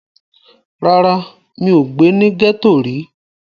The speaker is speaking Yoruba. Rárá, mi ò gbé ní gẹ́ẹ́tò rí